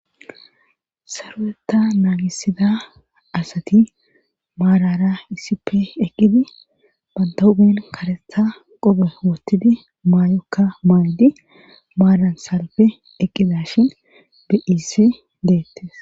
saruwetta naagisida asati maarara iisippe eqqidi bantahupen karetha qobe wottidi maayokka maaydi maaran salfe eqqida shin biiis deettes